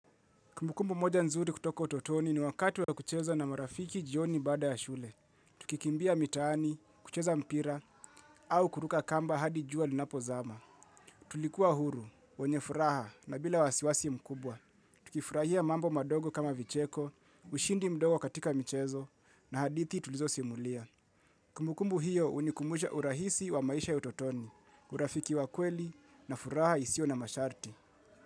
Kumbukumbu moja nzuri kutoko utotoni ni wakati wa kucheza na marafiki jioni baada ya shule. Tukikimbia mitaani, kucheza mpira, au kuruka kamba hadi jua linapozama. Tulikuwa huru, wenye furaha na bila wasiwasi mkubwa. Tukifurahia mambo madogo kama vicheko, ushindi mdogo katika michezo, na hadithi tulizosimulia. Kumbukumbu hiyo hunikumbusha urahisi wa maisha utotoni, urafiki wa kweli na furaha isio na masharti.